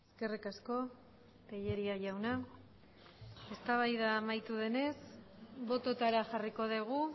eskerrik asko tellería jauna eztabaida amaitu denez bototara jarriko dugu